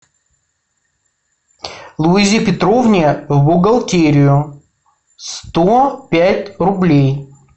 луизе петровне в бухгалтерию сто пять рублей